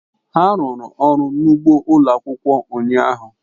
ha rụrụ ọrụ n'ugbo ụlọ akwụkwọ ụnyahụ.